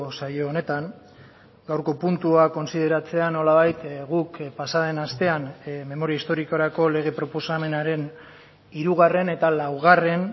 saio honetan gaurko puntua kontsideratzean nolabait guk pasa den astean memoria historikorako lege proposamenaren hirugarren eta laugarren